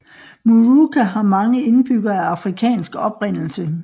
Moorooka har mange indbyggere af afrikansk oprindelse